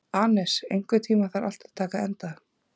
Anes, einhvern tímann þarf allt að taka enda.